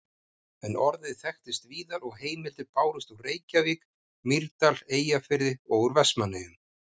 En orðið þekktist víðar og heimildir bárust úr Reykjavík, Mýrdal, Eyjafirði og úr Vestmannaeyjum.